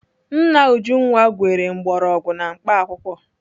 Nna Ujunwa gwere mgbọrọgwụ na mkpaakwụkwọ.